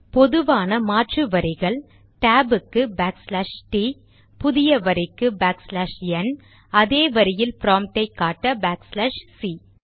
பொதுவான மாற்று வரிகள் டேப் ற்கு பேக்ச்லாஷ் டி t புதிய வரிக்கு பேக்ச்லாஷ் என் அதே வரியில் ப்ராம்ட்டை காட்ட பேக்ச்லாஷ் சி